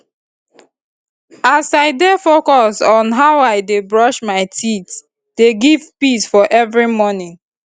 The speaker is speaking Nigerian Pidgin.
as i dey focus on how i dey brush my teethe dey give peace for every morning